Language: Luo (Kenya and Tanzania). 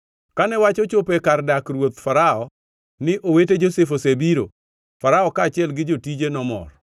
Kane wach ochopo e kar dak ruoth Farao ni owete Josef osebiro, Farao kaachiel gi jotije nomor.